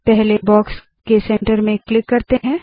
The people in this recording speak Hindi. पहले बॉक्स के सेंटर में क्लिक करते है